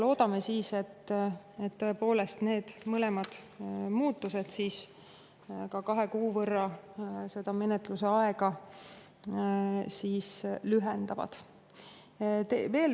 Loodame siis, et tõepoolest need mõlemad muudatused ka menetluse aega kahe kuu võrra lühendavad.